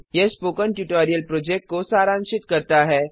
यह spoken tutorial project को सारांशित करता है